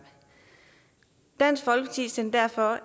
dansk folkeparti sendte derfor